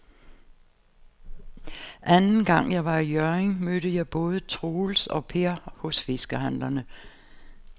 Anden gang jeg var i Hjørring, mødte jeg både Troels og Per hos fiskehandlerne.